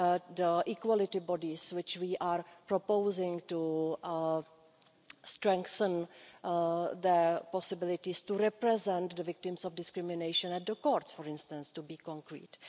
The equality bodies which we are proposing to strengthen their possibilities to represent the victims of discrimination in the courts for instance, to be concrete.